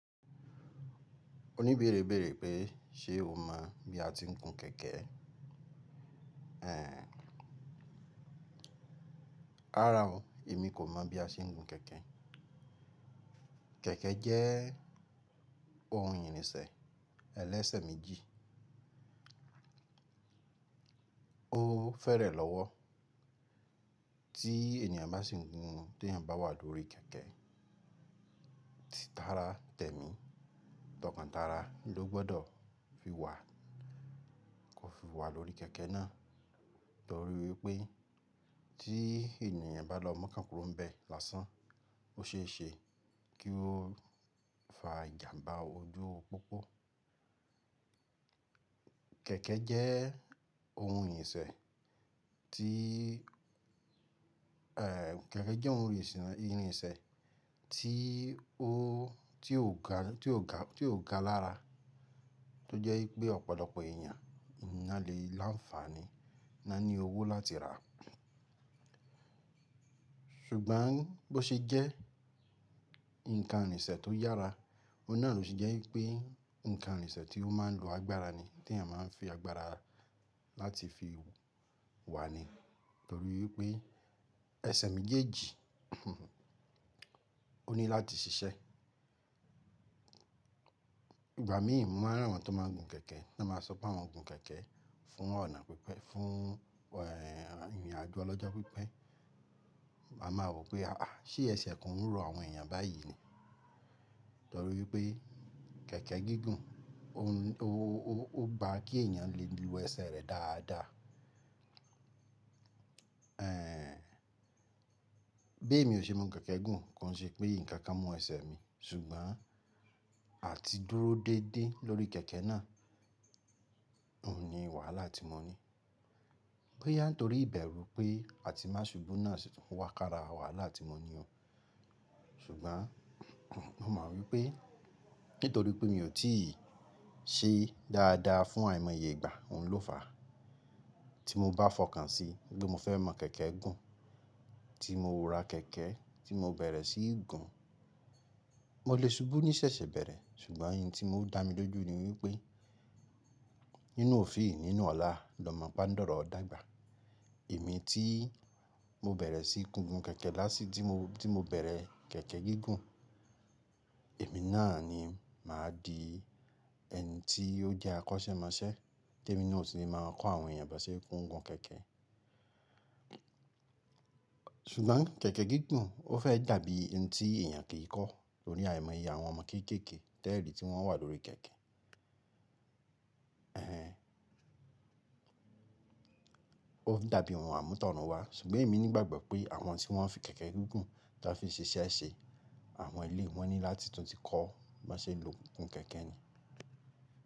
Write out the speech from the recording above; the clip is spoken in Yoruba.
O ní béèrè béèrè pé ṣe o mọ̀ bí a ti ń gun kẹ̀kẹ́? Ẹ̀ẹ̀, ràrá o, èmi kò mọ̀ bí a ṣe ń gun kẹ̀kẹ́. Kẹ̀kẹ́ jẹ́ ohun ìrìnṣẹ̀ ẹlẹ́sẹ̀ méjì. Ó fẹ́rẹ̀ lọ́wọ́ tí ènìyàn bá sì ń gun tí èeyàn bá wà lórí kẹ̀kẹ́. Títára tẹ̀mí, tọkàntara ló gbọdọ̀ fi wà kò fi wà lórí kẹ̀kẹ́ náà torí wípé tí ènìyàn bá lọ mókànkúrò ń bẹ lásán, ó ṣe é ṣe kí ó fa ìjàmbá ojú pópó. Kẹ̀kẹ́ jẹ́ ohun ìrìnsẹ̀ tí, ẹ̀, kẹ̀kẹ́ jẹ́ ohun ìrìnṣẹ̀ ìrìnṣẹ̀ tí ó, tí ó ga, tí ó ga, tí ó ga lára tó jẹ́ wípé ọ̀pọ̀lọpọ̀ ènìyàn ná lè lá ń fàni, ná ní owó láti rà á. Ṣùgbọ́n bó ṣe jẹ́ ǹkan ìrìnṣẹ̀ tó yára, òun náà ló ṣe jẹ́ wípé ǹkan ìrìnṣẹ̀ tí ó máa ń lo agbára ni, tí ènìyàn máa ń fi agbára láti fi wà ni torí wí pé ẹsẹ̀ méjèèjì ó ní láti ṣiṣẹ́. Ìgbà míì mo máa ń rí àwọn tó máa ń gun kẹ̀kẹ́, bá máa sọ pé àwọn gun kẹ̀kẹ́ fún ọ̀nà pípẹ́, fún, ẹ̀, ìrìnàjò ọlọ́jọ́ pípẹ́. Mo máa rò pé à, ṣe ẹsẹ̀ kan ń ro àwọn ènìyàn báyìí ni torí pé kẹ̀kẹ́ gígùn ó, ó, ó, ó gba kí ènìyàn lè lu ẹsẹ̀ rẹ̀ dáadáa. Ẹ̀ẹ̀, bí èmi ò ṣe mú kẹ̀kẹ́ gùn kò ṣe pé nǹkan mú ẹsẹ̀ mi ṣùgbọ́n àti dúró déédé lórí kẹ̀kẹ́ náà, òun ni wàhálà tí mo ní. Bó yá ń torí ìbẹ̀rù pé àti má ṣubú náà sì tún wà k'ára wàhálà tí mo ní o. Ṣùgbọ́n mo mọ̀ wípé nítorí pé mi ò tí ì ṣe dáadáa fún àìmọye ìgbà, òun ló fàá. Tí mo bá fọkàn sí wípé, mo fẹ́ mọ̀ kẹ̀kẹ́ gùn, tí mo ra kẹ̀kẹ́ tí mo bẹ̀rẹ̀ sí í gun, mo lè ṣubú ní sẹ̀sẹ̀ bẹ̀rẹ̀ ṣùgbọ́n òun tí ó dá mi lójú ni wípé nínú òfíì nínú ọ̀láà l'ọmọ páńdọ̀rọ̀ ọdágbà. Èmi tí mo bẹ̀rẹ̀ sí í gun gun kẹ̀kẹ́ lásìí tí mo, tí mo bẹ̀rẹ̀ kẹ̀kẹ́ gígùn, èmi náà ni màá di ẹni tí ó jẹ́ akọ́ṣẹ́mọṣẹ́, témi náà sì ni màá kọ́ àwọn ènìyàn bá ṣe ń gun kẹ̀kẹ́. Ṣùgbọ́n kẹ̀kẹ́ gígùn ó fẹ́ dàbí ohun tí ènìyàn kì í kọ́ torí àìmọye àwọn ọmọ kéékèèké tẹ́ẹ̀rí tí wọ́n ówà lórí kẹ̀kẹ́. Ẹ̀ẹ̀, ó ń dàbí ohun àmútọ̀runwá ṣùgbọ́n èmi ní ìgbàgbọ́ pé àwọn tí wọ́n fi kẹ̀kẹ́ gígùn táa fi ṣe iṣẹ́ ṣe, àwọn eléyìí wọn ní láti tún ti kọ́ bá ṣe lè lọ gun kẹ̀kẹ́ ni.